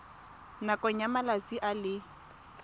nakong ya malatsi a le